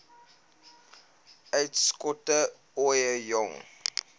uitskot ooie jong